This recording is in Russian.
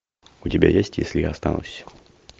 у тебя есть если я останусь